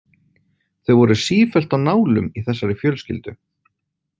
Þau voru sífellt á nálum í þessari fjölskyldu.